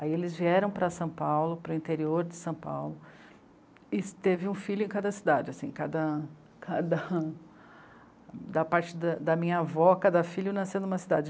Aí eles vieram para São Paulo, para o interior de São Paulo, e teve um filho em cada cidade, assim, cada... cada... Da parte da minha avó, cada filho nasceu em uma cidade.